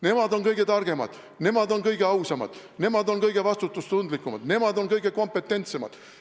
Nemad on kõige targemad, nemad on kõige ausamad, nemad on kõige vastutustundlikumad, nemad on kõige kompetentsemad.